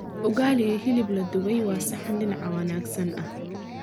Ugali iyo hilib la dubay waa saxan dhinaca wanaagsan ah.